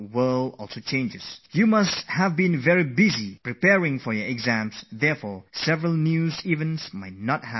As you have been kept very busy with the coming exams, it might be possible that many news stories may not have registered on your minds